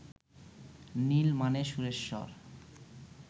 নীল মানে সুরেশ্বর